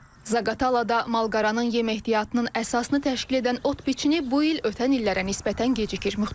Zaqatalada malqaranın yem ehtiyatının əsasını təşkil edən ot biçini bu il ötən illərə nisbətən gecikir.